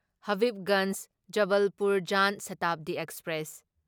Habibganj Jabalpur Jan Shatabdi express